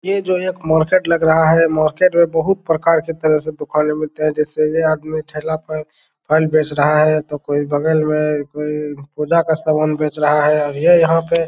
ये जो मार्केट लग रहा है मार्केट में बहुत प्रकार के तरह से दुकानें मिलते हैं जैसे ये आदमी ठेला पर फल बेच रहा है तो कोई बगल में कोई पुजा का सामान बेच रहा है और ये यहाँ पे --